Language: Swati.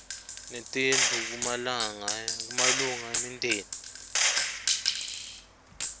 netindlu kumalunga emindeni